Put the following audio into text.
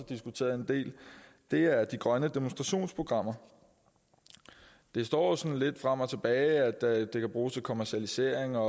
diskuteret en del er de grønne demonstrationsprogrammer det står jo sådan lidt frem og tilbage at det kan bruges til kommercialisering og